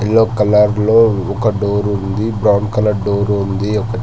Yellow colour లో ఒక door ఉంది బ్రౌన్ కలర్ డోర్ ఉంది.